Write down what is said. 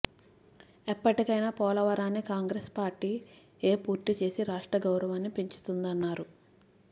ఎప్పటికైనా పోలవరాన్ని కాంగ్రెస్ పార్టీయే పూర్తి చేసి రాష్ట్ర గౌరవాన్ని పెంచుతుందన్నారు